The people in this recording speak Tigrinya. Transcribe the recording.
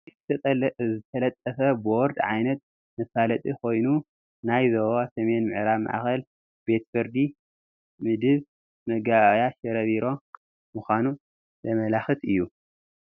እዚ ዝተለጠፈ ቦርድ ዓይነት መፋለጢ ኮይኑ ናይ ዞባ ሰሜን ምዕራብ ማእኸላይ ቤት ፍርዲ ምድብ መጋባእያ ሽረ ቢሮ ምዃኑ ዘመላኽት እዩ፡፡